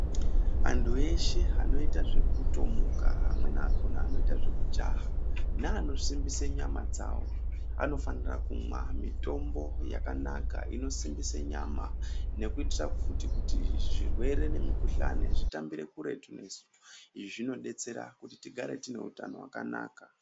Antu eshe anoita zvekutomuka amweni acho anoita zvekujaha neanosimbisa nyama dzavo anofanira kumwa mitombo yakanaka inosimbisa nyama nekuitira futi kuti zvirwere nemikhuhlani zvitambire kuretu nesu izvi zvinodetsera kuti tigare tine hutano hwakanaka.